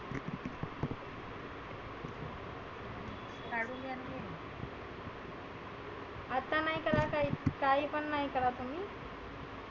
आता नाही करा ताई काही पण नाही करा तुम्ही.